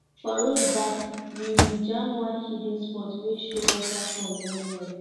for road back we we jam one hidden spot wey show waterfall wellwell